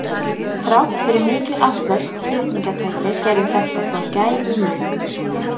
Þrátt fyrir mikil afföll flutningatækja gerði þetta þó gæfumuninn.